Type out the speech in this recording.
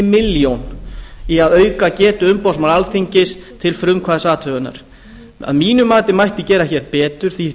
milljón í að auka getu umboðsmanns alþingis til frumkvæðisathugunar að mínu mati mætti gera hér betur því